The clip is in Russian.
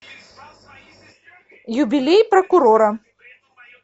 юбилей прокурора